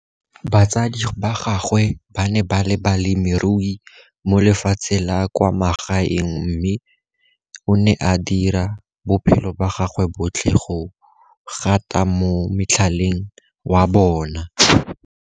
Batsadi ba gagwe ba ne ba le balemirui mo lefatsheng la kwa magaeng mme o ne a dira bophelo ba gagwe botlhe go gata mo motlhaleng wa bona.